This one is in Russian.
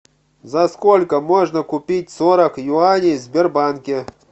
за сколько можно купить сорок юаней в сбербанке